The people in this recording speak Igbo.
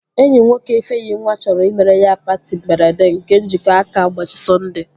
Enyi nwoke Ifenyinwa chọrọ imere ya patị mberede nke njikọ aka ụbọchị Sọnde